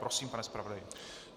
Prosím, pane zpravodaji.